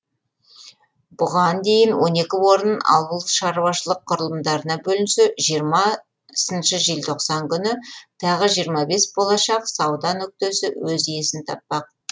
бұған дейін он екі орын ауылшаруашылық құрылымдарына бөлінсе жиырмасыншы желтоқсан күні тағы жиырма бес болашақ сауда нүктесі өз иесін таппақ